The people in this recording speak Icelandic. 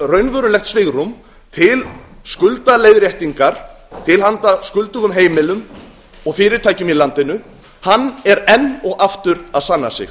raunverulegt svigrúm til skuldaleiðréttingar til handa skuldugum heimilum og fyrirtækjum í landinu hann er enn og aftur að sanna sig